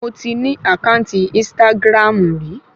Mo ti ní àkáǹtì ínstágráàmù rí